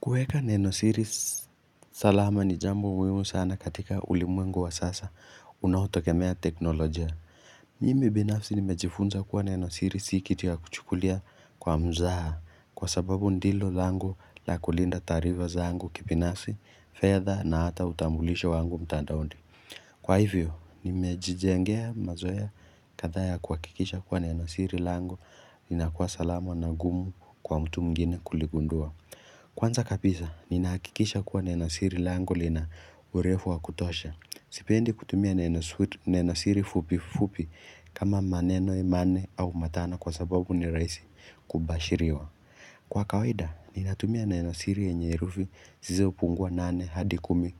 Kueka neno siri salama ni jambo muhimu sana katika ulimwengu wa sasa unaotogemea teknolojia. Mimi binafsi nimejifunza kuwa neno siri si kitu ya kuchukulia kwa mzaha kwa sababu ndilo langu la kulinda taarifa zangu kipinafsi, fedha na hata utambulisho wangu mtandaondi. Kwa hivyo, nimejijengea mazoea kadhaa ya kuhakikisha kuwa neno siri langu inakuwa salama na gumu kwa mtu mwingine kuligundua. Kwanza kapisa, ni nahakikisha kuwa neno siri langu lina urefu wa kutosha. Sipendi kutumia nenosiri fupi fupi kama maneno imane au matana kwa sababu ni raisi kubashiriwa. Kwa kaweda, ni natumia nenosiri enye erufi zizo pungua nane hadi kumi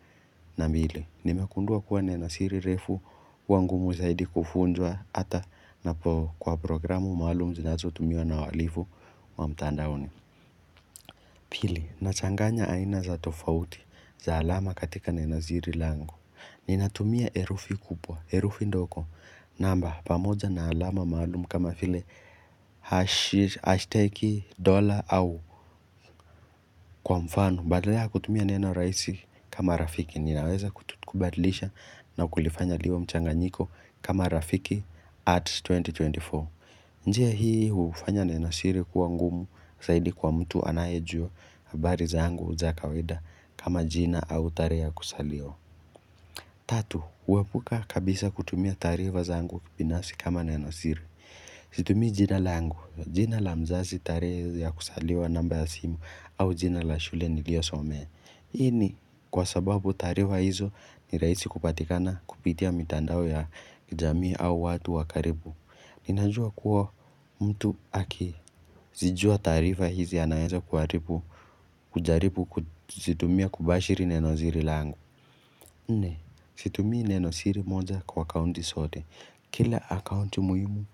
na mbile. Nime kundua kuwa nenosiri refu huwa ngumu zaidi kufunjwa ata napo kwa programu malum zi nato tumiwa na waalifu wa mtandaone. Pili, nachanganya aina za tofauti, za alama katika neno ziri langu. Nina tumia erufi kupwa, erufi ndoko. Namba, pamoja na alama maalumu kama file hashtag dollar au kwa mfano. Badala ya kutumia neno raisi kama rafiki. Ninaweza kutubadlisha na kulifanya liwe mchanganyiko kama rafiki at 2024. Njia hii hufanya neno siri kuwa ngumu, saidi kwa mtu anaye jua habari zangu za kawaida kama jina au tarehe ya kusaliwa Tatu, uwepuka kabisa kutumia taarifa zangu binasi kama neno siri Situmii jina langu, jina la mzazi tarehe ya kusaliwa namba ya simu au jina la shule nilio some Hii ni kwa sababu taarifa hizo ni raisi kupatikana kupitia mitandao ya kijamii au watu wakaribu Ninajua kuwa mtu aki zijua tarifa hizi anaeza kuaripu kujaripu kuzitumia kubashiri neno ziri langu Nne, situmii neno siri moja kwa akaunti sote Kila akaunti muhimu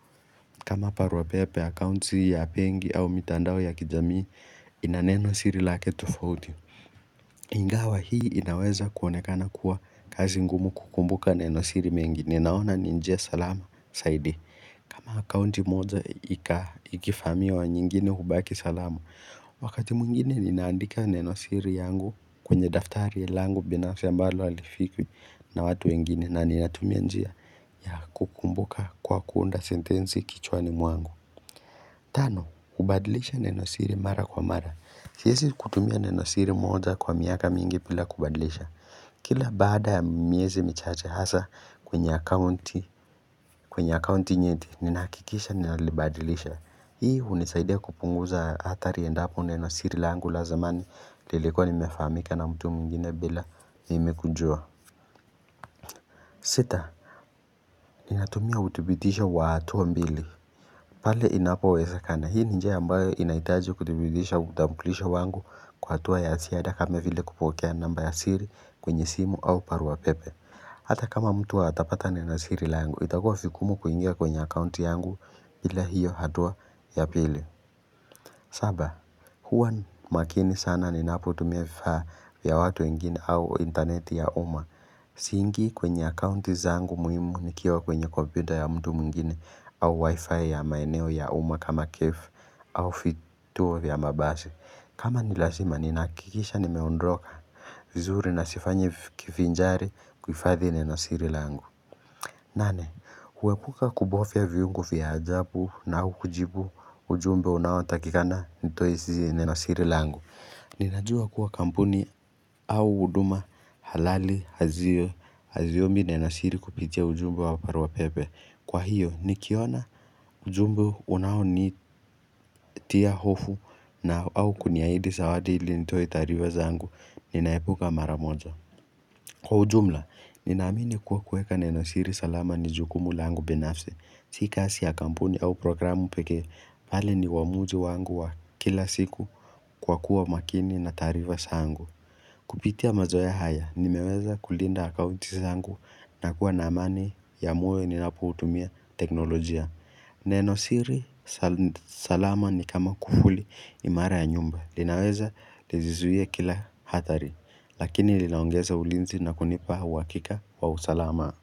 kama paruapepe akaunti ya pengi au mitandao ya kijamii ina neno siri lake tofauti Ingawa hii inaweza kuonekana kuwa kazi ngumu kukumbuka neno siri mengi Ninaona ninjia salama saidi kama akunti moja ikifamiwa nyingine hubaki salama, wakati mwingine ninaandika neno siri yangu kwenye daftari langu binafsi ambalo halifikwi na watu wengine na ninatumia njia ya kukumbuka kwa kuunda sentensi kichwani mwangu. Tano kubadilisha neno siri mara kwa mara Siesi kutumia neno siri moja kwa miaka mingi pila kubadilisha Kila baada ya miezi michache hasa kwenye akaunti kwenye akaunti nyeti ninahakikisha ninalibadilisha Hii hunisaidia kupunguza hatari endapo neno siri langu la zamani lilikuwa limefahamika na mtu mwingine bila mimi kujua sita Ninatumia utubitisho watu mbili pale inapowezekana, hii ni njia ambayo inaitaji kuthibigisha utambulisho wangu kwa hatua ya siada kame vile kupokea namba ya siri kwenye simu au paruwa pepe. Hata kama mtu atapata neno siri la yangu, itakua fikumu kuingia kwenye akaunti yangu bila hiyo hatua ya pili. Saba, huwa makini sana ninapotumia vifaa vya watu wengine au intaneti ya uma. Siingi kwenye akaunti zangu muhimu nikiwa kwenye kompyuta ya mtu mwingine au wifi ya maeneo ya uma kama cafe au fituo vya mabasi. Kama nilashima ninahakikisha nimeondroka vizuri na sifanyi kifinjari kuifadhi neno siri langu. Nane, huepuka kubofia viungo vya ajabu na hukujibu ujumbe unaotakikana nitoesi neno siri langu. Ninajua kuwa kampuni au huduma halali hazio haziombi neno siri kupitia ujumbe wa parua pepe Kwa hiyo nikiona ujumbe unao ni tia hofu na au kuniaidi sawadi ili nitoe tarifa zangu Ninaepuka maramoja Kwa ujumla, ninaamini kuwa kueka neno siri salama ni jukumu la angu binafse Si kasi ya kampuni au programu peke, pale ni uamuzi wangu wa kila siku kwa kuwa makini na taarifa zangu Kupitia mazoea haya nimeweza kulinda akaunti sangu na kuwa na amani ya moyo ninapoutumia teknolojia Neno siri salama ni kama kufuli imara ya nyumba linaweza lijizuie kila hatari lakini linaongeza ulinzi na kunipa uwakika wa usalamaa.